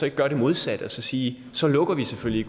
ikke gøre det modsatte og så sige så lukker vi selvfølgelig